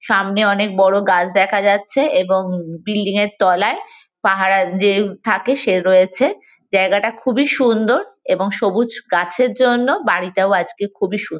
সামনে অনেক বড়ো গাছ দেখা যাচ্ছে এবং বিল্ডিং -এর তলায় পাহারা যে থাকে সে রয়েছে। জায়গাটা খুবই সুন্দর এবং সবুজ গাছের জন্য বাড়িটাও আজকে খুবই সু--